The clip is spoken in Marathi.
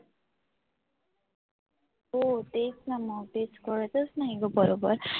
हो तेच ना मग कळतच नाही ग बरोबर.